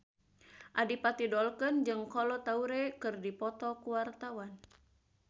Adipati Dolken jeung Kolo Taure keur dipoto ku wartawan